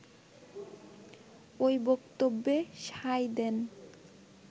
ওই বক্তব্যে সায় দেন